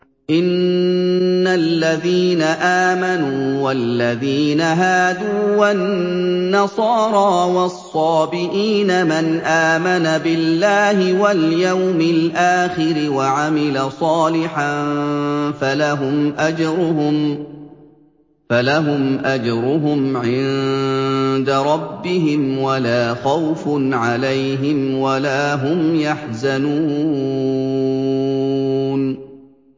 إِنَّ الَّذِينَ آمَنُوا وَالَّذِينَ هَادُوا وَالنَّصَارَىٰ وَالصَّابِئِينَ مَنْ آمَنَ بِاللَّهِ وَالْيَوْمِ الْآخِرِ وَعَمِلَ صَالِحًا فَلَهُمْ أَجْرُهُمْ عِندَ رَبِّهِمْ وَلَا خَوْفٌ عَلَيْهِمْ وَلَا هُمْ يَحْزَنُونَ